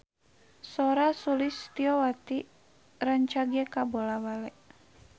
Sora Sulistyowati rancage kabula-bale